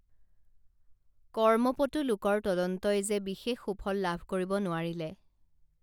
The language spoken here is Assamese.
কৰ্মপটু লোকৰ তদন্তই যে বিশেষ সুফল লাভ কৰিব লোৱাৰিলে